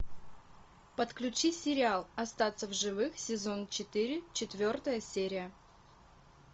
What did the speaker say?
подключи сериал остаться в живых сезон четыре четвертая серия